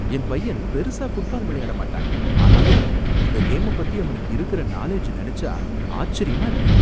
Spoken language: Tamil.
என் பையன் பெருசா ஃபுட்பால் விளையாட மாட்டான். ஆனாலும் இந்த கேம பத்தி அவனுக்கு இருக்குற நாலெட்ஜ நினைச்சா ஆச்சரியமா இருக்கு.